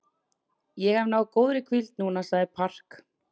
Ég hef náð góðri hvíld núna, sagði Park.